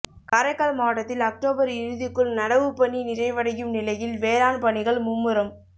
காரைக்கால் மாவட்டத்தில் அக்டோபா் இறுதிக்குள் நடவுப் பணி நிறைவடையும் நிலையில் வேளாண் பணிகள் மும்முரம்